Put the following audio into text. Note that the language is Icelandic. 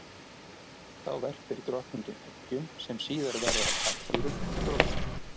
Þá verpir drottningin eggjum sem síðar verða að karldýrum og drottningum.